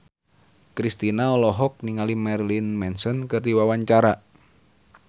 Kristina olohok ningali Marilyn Manson keur diwawancara